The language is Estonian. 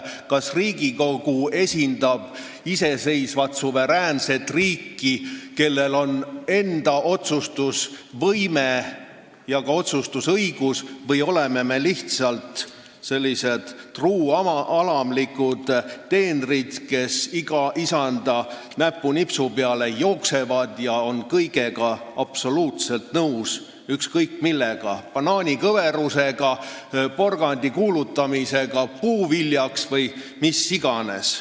Kas Riigikogu esindab iseseisvat, suveräänset riiki, kellel on enda otsustusvõime ja ka otsustusõigus, või oleme me lihtsalt truualamlikud teenrid, kes iga isanda näpunipsu peale jooksevad ja kõigega absoluutselt nõus on – banaani kõveruse reguleerimisega, porgandi puuviljaks kuulutamisega või millega iganes?